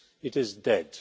It is dead.